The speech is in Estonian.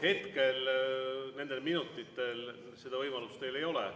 Hetkel, nendel minutitel seda võimalust teil ei ole.